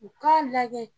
U k'a lajɛ